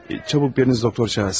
Tez biriniz doktor çağırsın.